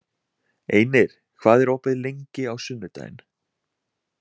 Einir, hvað er opið lengi á sunnudaginn?